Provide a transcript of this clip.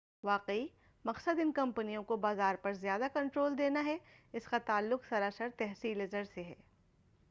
واقعی مقصد ان کمپنیوں کو بازار پر زیادہ کنٹرول دینا ہے اس کا تعلق سراسر تحصیلِ زر سے ہے